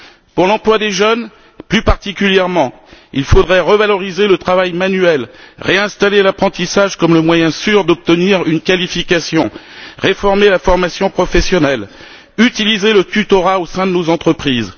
Pour l'emploi des jeunes, plus particulièrement, il faudrait revaloriser le travail manuel, réinstaller l'apprentissage comme le moyen sûr d'obtenir une qualification, réformer la formation professionnelle, utiliser le tutorat au sein de nos entreprises.